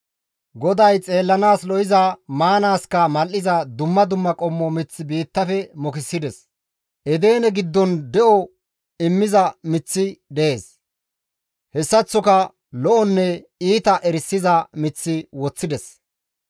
GODAY xeellanaas lo7iza, maanaaska mal7iza dumma dumma qommo mith biittafe mokisides; Edene giddon de7o immiza miththi dees; hessaththoka lo7onne iita erisiza mith woththides.